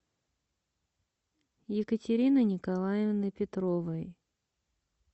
екатерины николаевны петровой